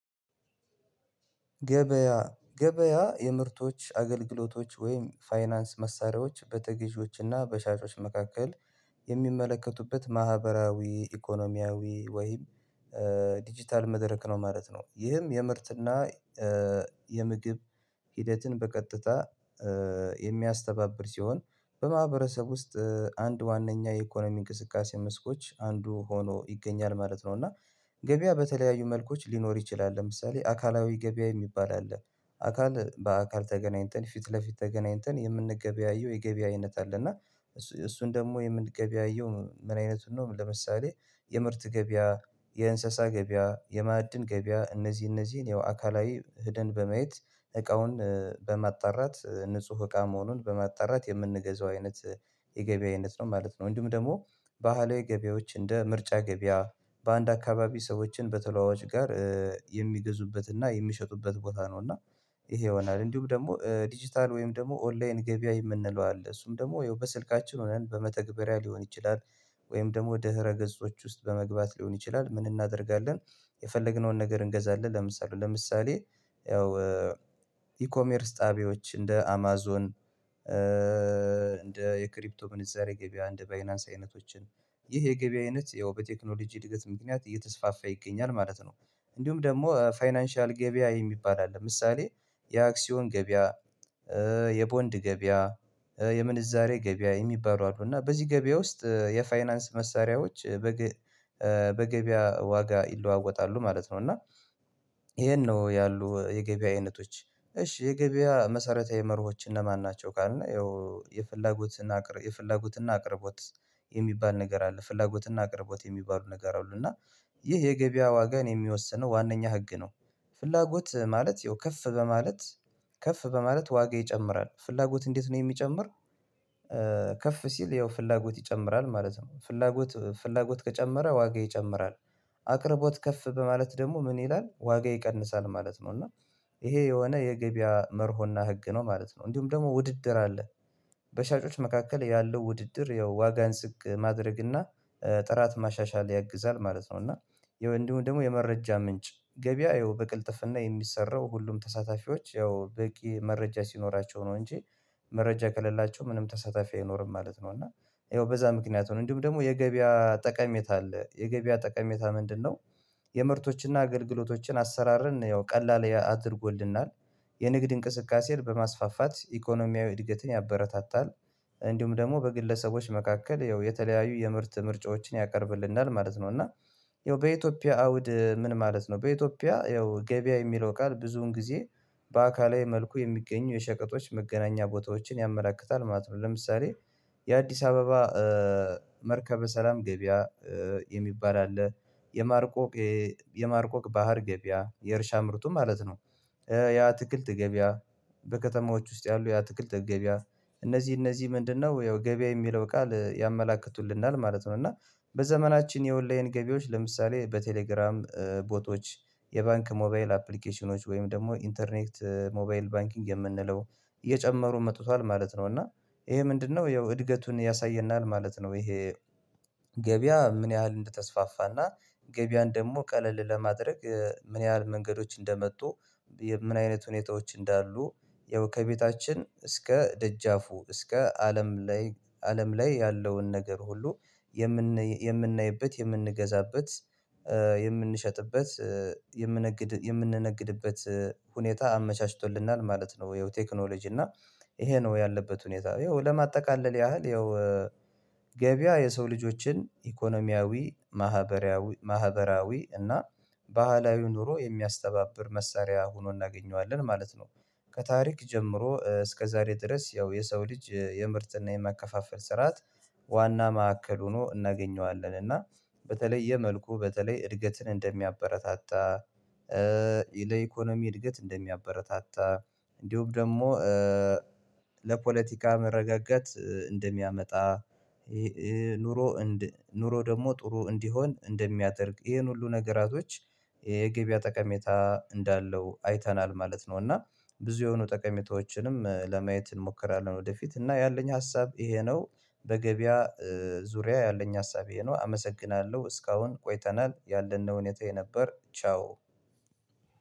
ገበያ ገበያ የምርቶች አገልግሎቶች ወይም ፋይናንስ መሳሪያዎች በተገዢዎችና በሻጮች መካከል የሚመለከቱበት ማህበራዊ ኢኮኖሚያዊ ወይም ዲጂታል መድረክ ነው ማለት ነው። ይህም የምርት እና የምግብ ሂደትን በቀጥታ የሚያስተባብር ሲሆን በማህበረሰብ ውስጥ አንድ ዋናኛ የኢኮኖሚ እንቅስቃሴ መስኮች አንዱ ሆኖ ይገኛል ማለት ነው። እና ገበያ በተለያዩ መልኮች ሊኖር ይችላል። ለምሳሌ አካላዊ ገበያ የሚባል አለ አካል በአካል ተገናኝተን ፊት ለፊት ተገናኝተን የምንገበያየው የገበያ አይነት አለ። እና እሱን ደግሞ የምንገበያየው ምን አይነቱን ነው ለምሳሌ የምርት ገበያ፣ የእንስሳ ገበያ፣ የማዕድን ገበያ እነዚህ እነዚህን ያው አካላዊ ሄደን በማየት እቃውን በማጣራት ንጹህ እቃ መሆኑን በማጣራት የምንገዛው አይነት የገበያ አይነት ነው ማለት ነው። እንዲሁም ደግሞ ባህላዊ ገበያዎች እንደ ምርጫ ገበያ በአንድ አካባቢ ሰዎችን በተለዋዋጭ ጋር የሚገዙበትና የሚሸጡበት ቦታ ነው። እና ይሄ ይሆናል። እንዲሁም ደግሞ 'ዲጂታል' ወይም ደግሞ 'ኦንላይን' ገበያ የምንለው አለ። እሱም ደግሞ ይኸው በስልካችን ሆነን በመተግበሪያ ሊሆን ይችላል። ወይም ደግሞ ድህረ ገጾች ውስጥ በመግባት ሊሆን ይችላል ምን እናደርጋለን የፈለግነውን ነገር እንገዛለን። ለምሳሌ ለምሳሌ ያው 'ኢኮሜርስ' ጣቢያዎች እንደ አማዞን እንደ የክሪፕቶ ምንዛሬ ገበያ እንደ ባይናንስ አይነቶችን። ይህ የገበያ አይነት ያው በቴክኖሎጂ እድገት ምክንያት እየተስፋፋ ይገኛል ማለት ነው። እንዲሁም ደግሞ ፋይናንሻል ገበያ የሚባል አለ። ለምሳሌ የአክሲዮን ገበያ፣ የቦንድ ገበያ፣ የምንዛሬ ገበያ የሚባሉ አሉ። እና በዚህ ገበያ ውስጥ የፋይናንስ መሳሪያዎች በገበያ ዋጋ ይለዋወጣሉ ማለት ነው። እና ይሄን ነው ያሉ የገበያ አይነቶች። እሺ የገበያ መሰረታዊ መርሆች እነማን ናቸው? ካልን የፍላጎት እና አቅርቦት የሚባል ነገር አለ ፍላጎትና አቅርቦት የሚባሉ ነገር አሉ። እና ይህ የገበያ ዋጋን የሚወስነው ዋነኛ ህግ ነው። ፍላጎት ማለት ያው ከፍ በማለት ከፍ በማለት ዋጋ ይጨምራል። ፍላጎት እንዴት ነው የሚጨምር ከፍ ሲል ያው ፍላጎት ይጨምራል ማለት ነው። ፍላጎት ፍላጎት ከጨመረ ዋጋ ይጨምራል። አቅርቦት ከፍ በማለት ደግሞ ምን ይላል ዋጋ ይቀንሳል ማለት ነው። እና ይሄ የሆነ የገበያ መርሆና ህግ ነው ማለት ነው። እንዲሁም ደግሞ ውድድር አለ። በሻጮች መካከል ያለው ውድድር ያው ዋጋን ዝቅ ማድረግ እና ጥራት ማሻሻል ያግዛል ማለት ነው። እና እንዲሁም ደግሞ የመረጃ ምንጭ ገበያ ይኸው በቅልጥፍና የሚሰራው ሁሉም ተሳታፊዎች ያው በቂ መረጃ ሲኖራቸው ነው እንጂ መረጃ ከሌላቸው ምንም ተሳታፊ አይኖርም ማለት ነው። እና ይኸው በዛ ምክንያት ነው። እንዲሁም ደግሞ የገበያ ጠቀሜታ አለ። የገበያ ጠቀሜታ ምንድነው የምርቶችን እና አገልግሎቶችን አሰራርን ያው ቀላል አድርጎልናል። የንግድ እንቅስቃሴን በማስፋፋት ኢኮኖሚያዊ እድገትን ያበረታታል እንዲሁም ደግሞ በግለሰቦች መካከል ያው የተለያዩ የምርት ምርጫዎችን ያቀርብልናል ማለት ነው። እና ያው በኢትዮጵያ አውድ ምን ማለት ነው በኢትዮጵያ ያው ገበያ የሚለው ቃል ብዙውን ጊዜ በአካላዊ መልኩ የሚገኙ የሸቀጦች መገናኛ ቦታዎችን ያመለክታል ማለት ነው። ለምሳሌ የአዲስ አበባ መርከበ ሰላም ገበያ የሚባል አለ። የማርቆቅ ባህር ገበያ የእርሻ ምርቱ ማለት ነው። የአትክልት ገበያ በከተማዎች ውስጥ ያሉ የአትክልት ገበያ እነዚህ ምንድነው ያው ገበያ የሚለው ቃል ያመላክቱልናል ማለት ነው። እና በዘመናችን የ'ኦልዌይን' ገቢዎች ለምሳሌ በቴሌግራም ቦቶች የባንክ ሞባይል አፕሊኬሽኖች ወይም ደግሞ 'ኢንተርኔት ሞባይል ባንኪንግ' የምንለው እየጨመሩ መጥቷል ማለት ነው። እና ይሄ ምንድነው ያው እድገቱን ያሳየናል ማለት ነው። ይሄ ገበያ ምን ያህል እንደተስፋፋና ገበያን ደግሞ ቀለል ለማድረግ ምን ያህል መንገድዎች እንደመጡ ምን አይነት ሁኔታዎች እንዳሉ ያው ከቤታችን እስከ ደጃፉ እስከ አለም ላይ አለም ላይ ያለውን ነገር ሁሉ የምንናይበት፣ የምንገዛበት፣ የምንሸጥበት የምንነግድ የምንነግድበት ሁኔታ አመቻችቶልናል ማለት ነው ይሄው ቴክኖሎጂ። እና ይሄ ነው ያለበት ሁኔታ። ይኸው ለማጠቃለል ያህል ይኸው ገበያ የሰው ልጆችን ኢኮኖሚያዊ ማህበራዊ ማህበራዊ እና ባህላዊ ኑሮ የሚያስተባብር መሳሪያ ሆኖ እናገኘዋለን ማለት ነው። ከታሪክ ጀምሮ እስከ ዛሬ ድረስ ያው የሰው ልጅ የምርት እና የማከፋፈል ስርዓት ዋና ማዕከል ሆኖ እናገኘዋለን እና በተለየ መልኩ በተለይ እድገትን እንደሚያበረታታ ለኢኮኖሚ እድገት እንደሚያበረታታ እንዲሁም ደግሞ ለፖለቲካ መረጋጋት እንደሚያመጣ ኑሮ ኑሮ ደግሞ ጥሩ እንዲሆን እንደሚያደርግ። ይሄን ሁሉ ነገራቶች የገበያ ጠቀሜታ እንዳለው አይተናል ማለት ነው። እና ብዙ የሆኑ ጠቀሜታዎችንም ለማየት እንሞክራለን ወደፊት እና ያለኝ ሀሳብ ይሄ ነው በገበያ ዙሪያ ያለኝ ሀሳብ ይሄ ነው። አመሰግናለሁ። እስካሁን ቆይተናል ያለ ነው ሁኔታዬ ነበር። ቻው።